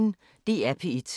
DR P1